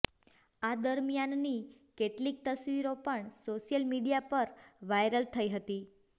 આ દરમિયાનની કેટલીક તસવીરો પણ સોશિયલ મીડિયા પર વાયરલ થઈ હતી